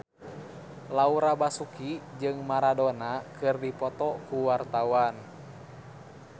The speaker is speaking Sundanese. Laura Basuki jeung Maradona keur dipoto ku wartawan